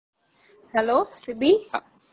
hello CP